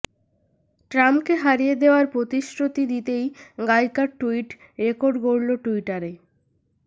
ট্রাম্পকে হারিয়ে দেওয়ার প্রতিশ্রুতি দিতেই গায়িকার টুইট রেকর্ড গড়ল টুইটারে